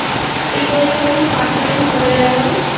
এই করে কিরকম পাঁচটা দিন চলে যায় বল